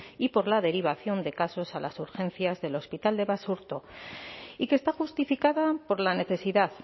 y por la derivación de casos a las urgencias del hospital de basurto y que está justificada por la necesidad